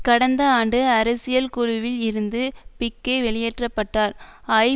கடந்த ஆண்டு அரசியல் குழுவில் இருந்து பிக்கே வெளியேற்ற பட்டார் ஐ